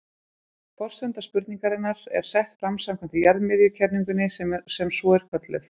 Forsenda spurningarinnar er sett fram samkvæmt jarðmiðjukenningunni sem svo er kölluð.